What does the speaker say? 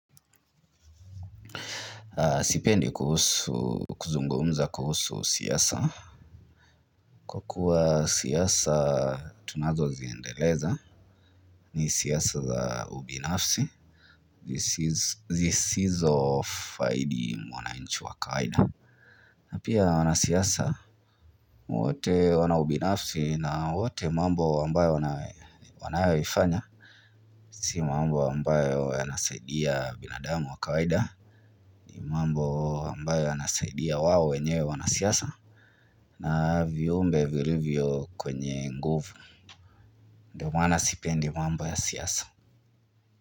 Sipendi kuzungumza kuhusu siasa. Kwa kuwa siasa tunazo ziendeleza ni siasa za ubinafsi. Zisizo faidi mwanainchi wa wakaida. Na pia wanasiasa, wote wana ubinafsi na wote mambo ambayo wana wanayaoifanya Si mambo ambayo yanasaidia binadamu wa kawaida. Ni mambo ambayo yanasaidia wao wenyewe wanasiasa na viumbe vilivyo kwenye nguvu Ndio maana sipendi mambo ya siasa.